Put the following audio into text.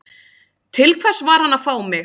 Til hvers var hann að fá mig?